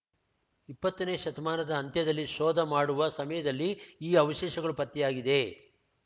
ಇಪ್ಪತ್ತನೇ ಶತಮಾನದ ಅಂತ್ಯದಲ್ಲಿ ಶೋಧ ಮಾಡುವ ಸಮಯದಲ್ಲಿ ಈ ಅವಶೇಷಗಳು ಪತ್ತೆಯಾಗಿದೆ